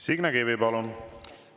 Signe Kivi, palun!